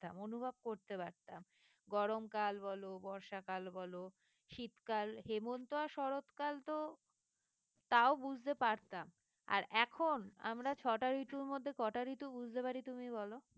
অনুভব করতে পারতাম গরমকাল বলো বর্ষাকাল বলো শীতকাল হেমন্ত আর শরৎকাল তো তাও বুঝতে পারতাম আর এখন আমরা ছটা ঋতুর মধ্যে কটা ঋতু বুঝতে পারি তুমি বলো?